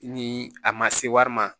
Ni a ma se wari ma